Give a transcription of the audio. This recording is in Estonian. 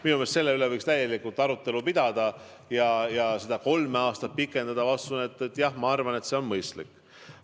Minu meelest võiks selle üle arutelu pidada ja kui seda kolme aastat pikendada, siis, ma usun jah, see on mõistlik.